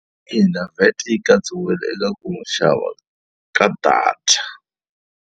ina VAT yi katsiwile eka ku xava ka data.